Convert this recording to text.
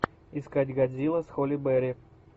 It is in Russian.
искать годзилла с холли берри